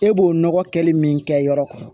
E b'o nɔgɔ kɛli min kɛ yɔrɔ